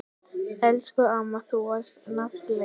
Elsku amma, þú varst nagli.